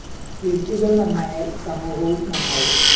വ്യക്തികള്‍ നന്നായാല്‍ സമൂഹവും നന്നാവും